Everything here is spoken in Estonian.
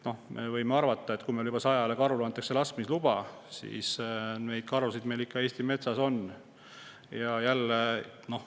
No kui meil antakse juba 100 karu laskmise luba, siis me võime arvata, et karusid Eesti metsas ikka on.